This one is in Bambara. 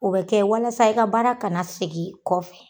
O bɛ kɛ walasa i ka baara kana segin kɔfɛ.